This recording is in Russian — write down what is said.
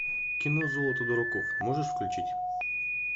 кино золото дураков можешь включить